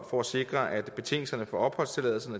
for at sikre at betingelserne for opholdstilladelse